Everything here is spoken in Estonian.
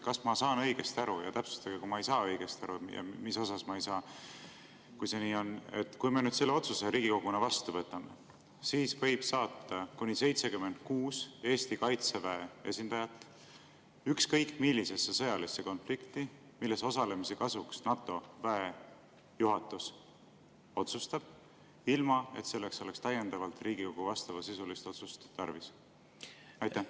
Kas ma saan õigesti aru – ja täpsustage, kui ma ei saa õigesti aru ja millest ma ei saa, kui see nii on –, et kui me nüüd selle otsuse Riigikoguna vastu võtame, siis võib saata kuni 76 Eesti Kaitseväe esindajat ükskõik millisesse sõjalisse konflikti, milles osalemise kasuks NATO väejuhatus otsustab, ilma et selleks oleks täiendavalt tarvis Riigikogu vastavasisulist otsust?